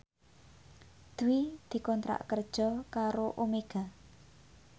Dwi dikontrak kerja karo Omega